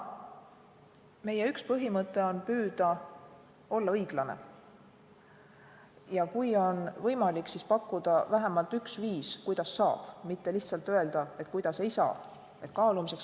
Meie üks põhimõtteid on püüda olla õiglane ja kui on võimalik, siis pakkuda vähemalt üks viis, kuidas saab, mitte lihtsalt öelda, kuidas ei saa.